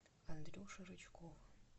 андрюши рычкова